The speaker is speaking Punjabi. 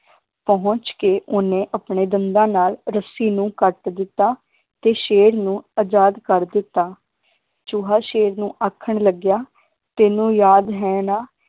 ਪਹੁੰਚ ਕੇ ਓਹਨੇ ਆਪਣੇ ਦੰਦਾਂ ਨਾਲ ਰੱਸੀ ਨੂੰ ਕੱਟ ਦਿੱਤਾ ਤੇ ਸ਼ੇਰ ਨੂੰ ਅਜਾਦ ਕਰ ਦਿੱਤਾ ਚੂਹਾ ਸ਼ੇਰ ਨੂੰ ਆਖਣ ਲੱਗਿਆ ਤੈਨੂੰ ਯਾਦ ਹੈ ਨਾ